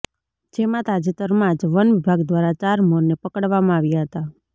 જેમાં તાજેતરમાંજ વન વિભાગ દ્વારા ચાર મોરને પકડવામાં આવ્યા હતા